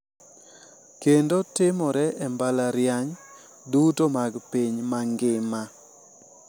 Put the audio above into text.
Kendo timore e mbalariany duto mag piny mangima.